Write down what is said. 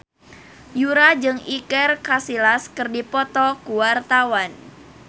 Yura jeung Iker Casillas keur dipoto ku wartawan